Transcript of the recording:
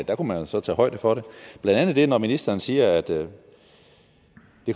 der kunne man jo så tage højde for det blandt andet når ministeren siger at det